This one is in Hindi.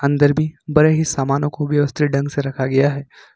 अंदर भी बड़े ही सामानों को व्यवस्थित ढंग से रखा गया है।